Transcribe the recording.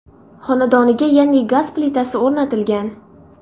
Xonadoniga yangi gaz plitasi o‘rnatilgan.